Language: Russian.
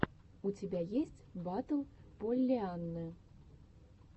у тебя есть батл поллианны